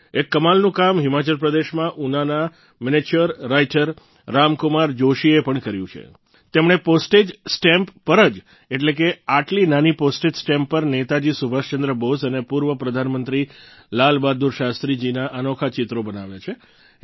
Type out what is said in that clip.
એક કમાલનું કામ હિમાચલ પ્રદેશમાં ઉનાના મિનિએચર રાઈટર રામકુમાર જોશી જીએ પણ કર્યું છે તેમણે પોસ્ટેજ સ્ટેમ્પ પર જ એટલે કે આટલી નાની પોસ્ટેજ સ્ટેમ્પ પર નેતાજી સુભાષચંદ્ર બોઝ અને પૂર્વ પ્રધાનમંત્રી લાલ બહાદુર શાસ્ત્રી જીના અનોખા ચિત્રો બનાવ્યા છે